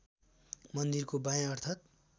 मन्दिरको बायाँ अर्थात्